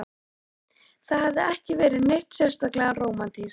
Það hafði ekki verið neitt sérstaklega rómantískt.